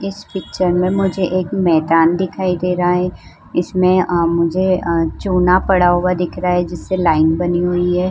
इस पिक्चर में मुझे एक मैंदान दिखाई दे रहा है इसमें मुझे चुँना पड़ा हुआ दिख रहा है जिससे लाइन बनी हुई है।